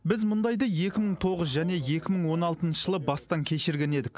біз мұндайды екі мың тоғыз және екі мың он алтыншы жылы бастан кешірген едік